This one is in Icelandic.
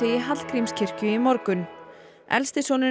í Hallgrímskirkju í morgun elsti sonurinn